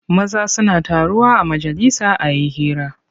Maza suna taruwa a majalisa a yi hira.